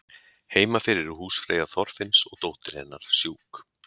heima fyrir er húsfreyja þorfinns og dóttir hennar sjúk